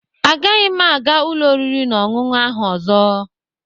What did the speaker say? Agaghị m aga ụlọ oriri na ọṅụṅụ ahụ ọzọ